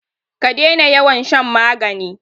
ka dena yawan shan magani!